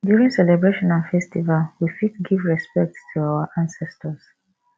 during celebration and festival we fit give respect to our ancestors